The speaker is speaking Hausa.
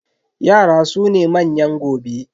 Yara su ne manyan gobe.